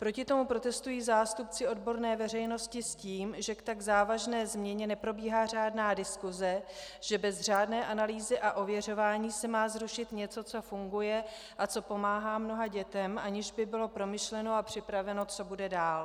Proti tomu protestují zástupci odborné veřejnosti s tím, že k tak závažné změně neprobíhá řádná diskuse, že bez řádné analýzy a ověřování se má zrušit něco, co funguje a co pomáhá mnoha dětem, aniž by bylo promyšleno a připraveno, co bude dál.